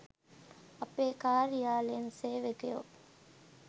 අපේ කාර්යා‍ලයෙන් සේවකයො